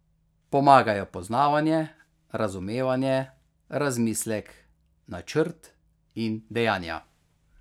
Pomagajo poznavanje, razumevanje, razmislek, načrt in dejanja.